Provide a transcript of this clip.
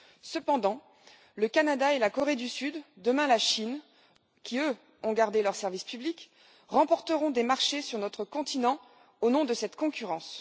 Cependant, le Canada, la Corée du Sud et, demain, la Chine, qui, eux, ont gardé leur service public, remporteront des marchés sur notre continent, au nom de cette concurrence.